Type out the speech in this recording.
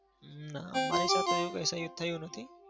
હમ ના. મારી સાથે એવું કઈ થયું નથી.